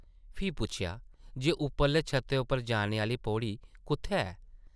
फ्ही पुच्छेआ जे उप्परले छत्तै उप्पर जाने आह्ली पौड़ी कुʼत्थै ऐ ?